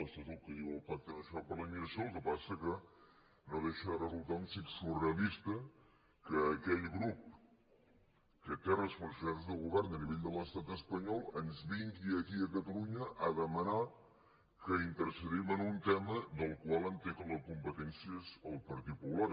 això és el que diu el pac·te nacional per la immigració el que passa és que no deixa de resultar un xic surrealista que aquell grup que té responsabilitats de govern a nivell de l’estat es·panyol ens vingui aquí a catalunya a demanar que intercedim en un tema del qual entenc que la compe·tència és del patit popular